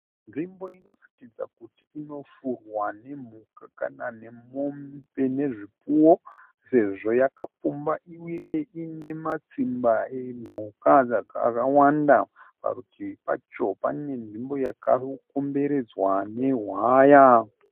Nzvimbo inoratidza kuti inofurwa nemhuka kana nemombe nezvipfuwo sezvo yakapfumba uye ine matsimba emhuka akawanda. Parutivi pacho pane nzvimbo yaka komberedzwa nehwaya.